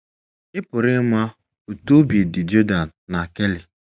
Ị̀ pụrụ ịma otú obi dị Jordan na Kelly?